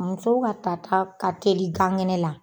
Musow ka ta ta ka teli gan kɛnɛ la.